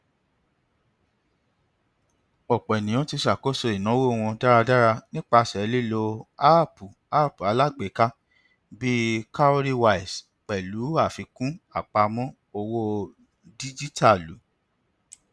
ọpọ ènìyàn ti ṣàkóso ináwó wọn dáradára nípasẹ lílo áàpùapp alágbèéká bíi cowrywise pẹlú àfikún apamọ owó díjítàlù